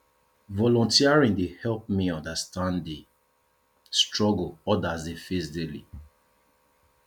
volunteering dey help me understand di struggles others dey face daily